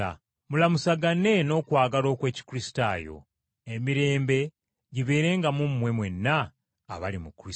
Mulamusagane n’okwagala okw’Ekikristaayo. Emirembe gibeerenga mu mmwe mwenna abali mu Kristo.